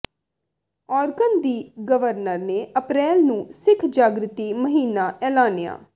Oregon ਦੀ governor ਨੇ April ਨੂੰ ਸਿੱਖ ਜਾਗ੍ਰਿਤੀ ਮਹੀਨਾ ਐਲਾਨਿਆ